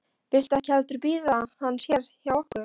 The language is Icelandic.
Viltu ekki heldur bíða hans hérna hjá okkur?